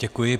Děkuji.